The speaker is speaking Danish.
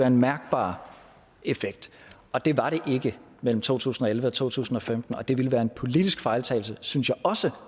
en mærkbar effekt og det var det ikke mellem to tusind og elleve og to tusind og femten og det ville være en politisk fejltagelse synes jeg også